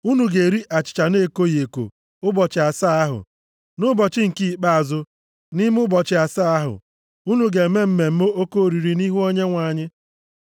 Unu ga-eri achịcha na-ekoghị eko ụbọchị asaa ahụ. Nʼụbọchị nke ikpeazụ nʼime ụbọchị asaa ahụ, unu ga-eme mmemme oke oriri nʼihu Onyenwe anyị.